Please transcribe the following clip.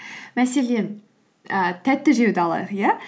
мәселен і тәтті жеуді алайық иә